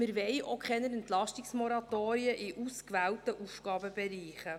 Wir wollen auch keine Entlastungsmoratorien in ausgewählten Aufgabenbereichen.